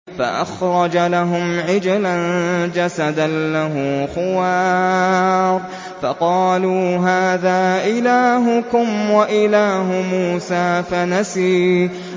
فَأَخْرَجَ لَهُمْ عِجْلًا جَسَدًا لَّهُ خُوَارٌ فَقَالُوا هَٰذَا إِلَٰهُكُمْ وَإِلَٰهُ مُوسَىٰ فَنَسِيَ